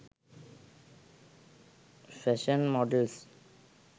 fashion models